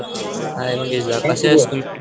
हाय कसायेस तू ?